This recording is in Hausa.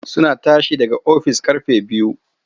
Suna tashi daga ofis ƙarfe biyu.